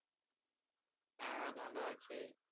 হ্যা ভালো আছে